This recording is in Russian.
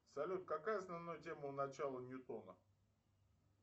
салют какая основная тема у начала ньютона